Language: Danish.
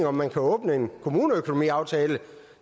om man kunne åbne en kommuneøkonomiaftale